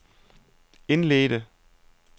indledte